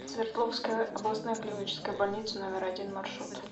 свердловская областная клиническая больница номер один маршрут